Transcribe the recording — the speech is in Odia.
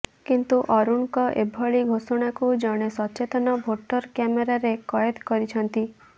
କିନ୍ତୁ ଅରୁଣଙ୍କ ଏଭଳି ଘୋଷଣାକୁ ଜଣେ ସଚେତନ ଭୋଟର କ୍ୟାମେରାରେ କଏଦ କରିଛନ୍ତି